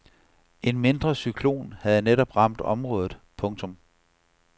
En mindre cyklon havde netop ramt området. punktum